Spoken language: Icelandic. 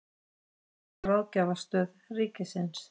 Greiningar- og ráðgjafarstöð ríkisins.